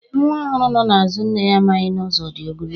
Nwa ọhụrụ nọ n'azụ nne ya amaghị na ụzọ dị ogologo